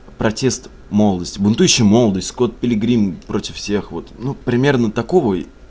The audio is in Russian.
протест молодости будущая молодость скотт пилигрим против всех вот ну примерно такого